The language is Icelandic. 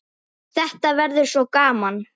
Þetta verður svo gaman.